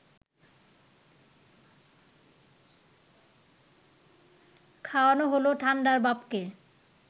খাওয়ানো হল ঠান্ডার বাপকে